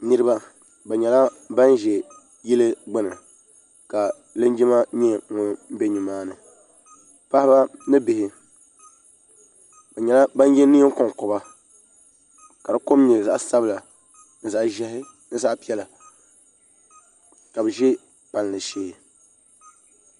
niriba bɛ nyɛla ban ʒɛ bɛ yili gbani ka linjima nyɛ ŋɔ bɛ nimaani paɣ' ba ni bihi be nyɛla ban ka di kom nyɛ zaɣ' sabila zaɣ' ʒiɛhi zaɣ' piɛlla ka be ʒɛ pali shɛɛ